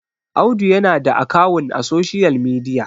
Audu yana da akawun a social media